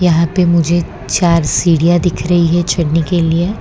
यहां पे मुझे चार सीढ़ियां दिख रही है चढ़ने के लिए।